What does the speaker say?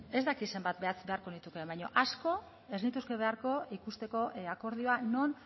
ez dakit zenbat beharko nituzke baina asko ez nituzke beharko ikusteko akordioa non